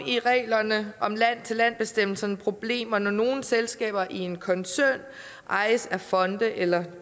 i reglerne om land for land bestemmelserne problemer når nogle selskaber i en koncern ejes af fonde eller